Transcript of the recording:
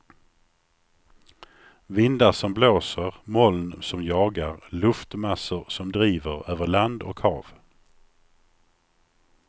Vindar som blåser, moln som jagar, luftmassor som driver över land och hav.